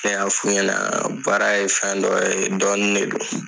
Ne y'a f'u ɲɛna baara ye fɛn dɔ ye dɔɔnin de don.